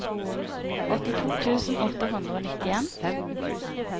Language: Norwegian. åttito tusen åtte hundre og nittien